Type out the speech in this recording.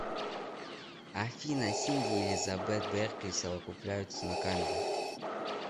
афина синди и элизабет беркли совокупляются на камеру